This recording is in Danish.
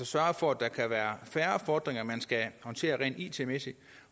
sørger for at der kan være færre fordringer man skal håndtere rent it mæssigt